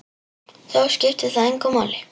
Þó skiptir það engu máli.